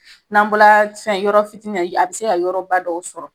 N'an bɔra fɛn yɔrɔ fitini na a be se ka yɔrɔba dɔw sɔrɔ